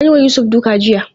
An yi wa Yusuf duka jiya.